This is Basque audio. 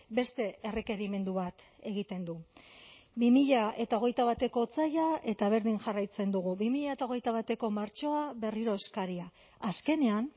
beste errekerimendu bat egiten du bi mila hogeita bateko otsaila eta berdin jarraitzen dugu bi mila hogeita bateko martxoa berriro eskaria azkenean